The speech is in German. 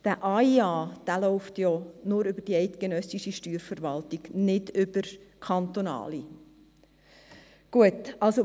Der AIA läuft nur über die eidgenössische Steuerverwaltung, nicht über die kantonalen Steuerverwaltungen.